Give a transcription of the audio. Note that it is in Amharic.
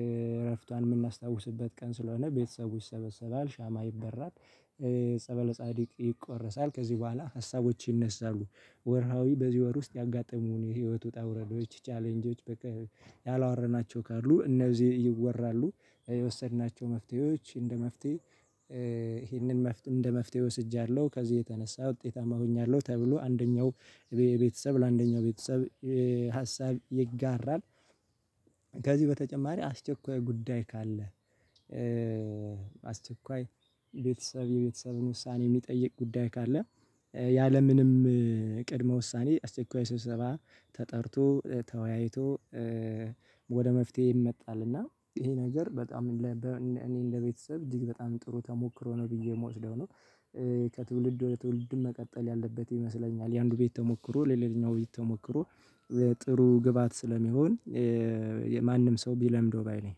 እረፍቷን የምናስታውስበት ቀን ስለሆነ ቤተሰቡ ይሰበሰባል ሻማ ይበራል ጸበለ ጻዲቅ ይቆረሳል ከዚህ በኋላ ሀሳቦች ይነሳሉ። ወርሃዊ በዚህ ወር ውስጥ ያጋጠሙን የህይወት ውጣ ውረዶች ቻሌንጆች በቃ ያላወራናቸው ካሉ እነዚህ ይወራሉ የወሰድናቸው መፍትሄዎች እንደ መፍትሄ ይሄንን መፍትሄ እንደ መፍትሄ ወስጃለሁ ከዚህ የተነሳ ውጤታማ ሆኛለሁ ተብሎ አንደኛው ቤተሰብ ለአንደኛው ቤተሰብ ሀሳብ ይጋራል። ከዚህ በተጨማሪ አስቸኳይ ጉዳይ ካለ አስቸኳይ ቤተሰብ የቤተሰብን ውሳኔ የሚጠይቅ ጉዳይ ካለ ያለምንም ቅድመ ውሳኔ አስቼኳይ ስብሰባ ተጠርቶ ተወያይቶ ወደ መፍትሄ ይመጣል። እና ይሄ ነገር በጣም እኔ እንደ ቤተሰብ እጅግ በጣም ጥሩ ተሞክሮ ነው ብዬ የምወስደው ነው። ከትውልድ ወደ ትውልድ መቀጠል ያለበት ይመስለኛል የአንዱ ቤት ተሞክሮ ለሌላኛው ቤት ተሞክሮ ጥሩ ግብአት ስለሚሆን። ማንም ሰው ቢለምደው ባይ ነኝ